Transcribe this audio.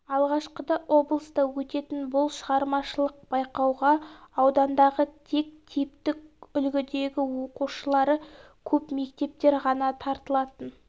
алғашқыда облыста өтетін бұл шығармашылық байқауға аудандағы тек типтік үлгідегі оқушылары көп мектептер ғана тартылатын